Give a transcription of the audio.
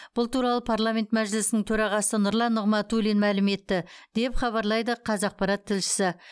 бұл туралы парламент мәжілісінің төрағасы нұрлан нығматулин мәлім етті деп хабарлайды қазақпарат тілшісі